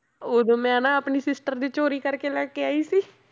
ਉਦੋਂ ਮੈਂ ਨਾ ਆਪਣੀ sister ਦੇ ਚੋਰੀ ਕਰਕੇ ਲੈ ਕੇ ਆਈ ਸੀ